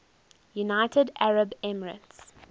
united arab emirates